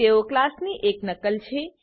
તેઓ ક્લાસની એક નકલ છે